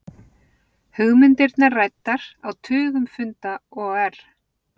Hugmyndirnar ræddar á tugum funda OR